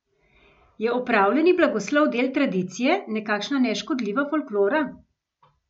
Je opravljeni blagoslov del tradicije, nekakšna neškodljiva folklora?